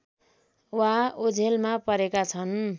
वा ओझेलमा परेका छन्